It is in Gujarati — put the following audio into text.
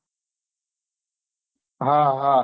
હા હા